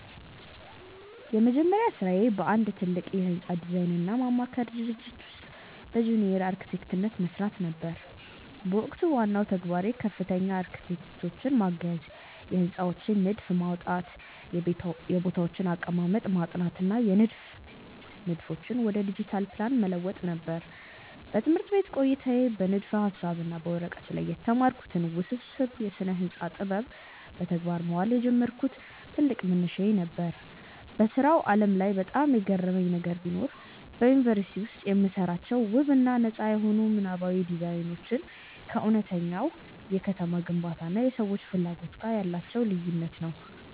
የመጀመሪያ ሥራዬ በአንድ ትልቅ የሕንፃ ዲዛይንና ማማከር ድርጅት ውስጥ በጁኒየር አርክቴክትነት መሥራት ነበር። በወቅቱ ዋናው ተግባሬ ከፍተኛ አርክቴክቶችን ማገዝ፣ የሕንፃዎችን ንድፍ ማውጣት፣ የቦታዎችን አቀማመጥ ማጥናት እና የንድፍ ንድፎችን ወደ ዲጂታል ፕላን መለወጥ ነበር። በትምህርት ቤት ቆይታዬ በንድፈ-ሐሳብ እና በወረቀት ላይ የተማርኩትን ውስብስብ የስነ-ህንፃ ጥበብ በተግባር ማዋል የጀመርኩበት ትልቅ መነሻዬ ነበር። በሥራው ዓለም ላይ በጣም የገረመኝ ነገር ቢኖር፣ በዩኒቨርሲቲ ውስጥ የምንሰራቸው ውብ እና ነጻ የሆኑ ምናባዊ ዲዛይኖች ከእውነተኛው የከተማ ግንባታ እና የሰዎች ፍላጎት ጋር ያላቸው ልዩነት ነው።